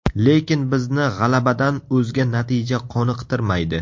Lekin bizni g‘alabadan o‘zga natija qoniqtirmaydi.